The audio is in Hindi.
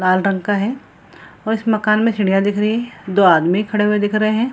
लाल रंग का है और इस मकान में सीढ़ियाँ दिख रही हैं दो आदमी खड़े हुए दिख रहे हैं।